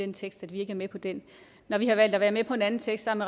den tekst at vi ikke er med på den når vi har valgt at være med på en anden tekst sammen